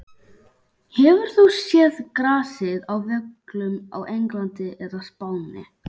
Hefur þú séð grasið á völlum á Englandi eða Spáni?